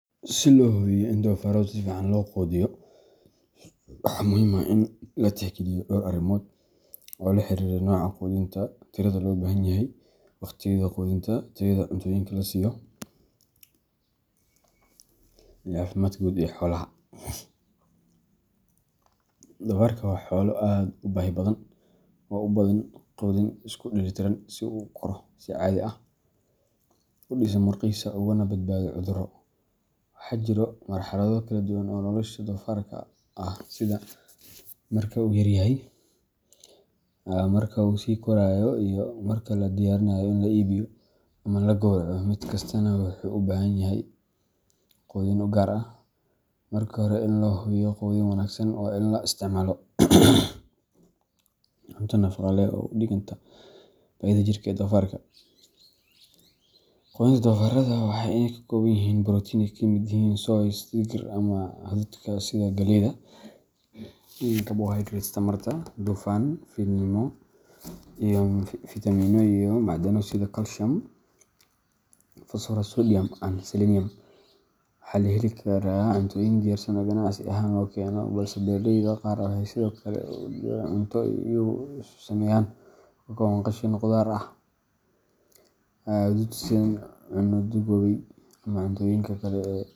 Si loo hubiyo in doofaarrada si fiican loo quudiyo, waxaa muhiim ah in la tixgeliyo dhowr arrimood oo la xiriira nooca quudinta, tirada loo baahan yahay, wakhtiyada quudinta, tayada cuntooyinka la siiyo, iyo caafimaadka guud ee xoolaha. Doofaarka waa xoolo aad u baahi badan oo u baahan quudin isku dheellitiran si uu u koro si caadi ah, u dhiso murqihiisa, ugana badbaado cudurro. Waxaa jira marxalado kala duwan oo nolosha doofaarka ah sida marka uu yaryahay, marka uu sii korayo, iyo marka la diyaarinayo in la iibiyo ama la gowraco mid kastaana wuxuu u baahan yahay hab quudin u gaar ah. Marka hore, si loo hubiyo quudin wanaagsan, waa in la isticmaalo cunto nafaqo leh oo u dhiganta baahida jirka ee doofaarka. Quudinta doofaarrada waa in ay ka kooban tahay borotiin oo ka yimaada soy, digir, ama hadhuudhka sida galleyda, carbohydrates tamarta, dufan yar, fiitamiinno iyo macdano sida calcium, phosphorus, sodium and selenium. Waxaa la heli karaa cuntooyin diyaarsan oo ganacsi ahaan la keeno, balse beeraleyda qaar waxay sidoo kale isku daraan cunto ay iyagu isku sameeyaan oo ka kooban qashin khudaar ah, hadhuudh shiidan, caano duugoobay ama cuntooyinka kale ee .